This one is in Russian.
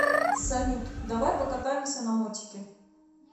салют давай покатаемся на мотике